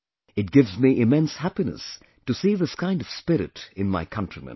It gives me immense happiness to see this kind of spirit in my countrymen